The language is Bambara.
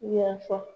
Yafa